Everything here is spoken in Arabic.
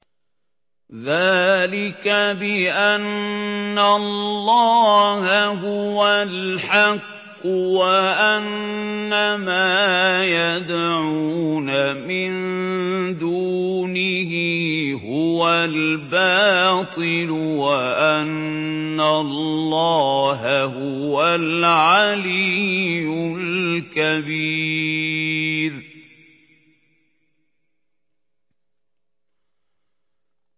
ذَٰلِكَ بِأَنَّ اللَّهَ هُوَ الْحَقُّ وَأَنَّ مَا يَدْعُونَ مِن دُونِهِ هُوَ الْبَاطِلُ وَأَنَّ اللَّهَ هُوَ الْعَلِيُّ الْكَبِيرُ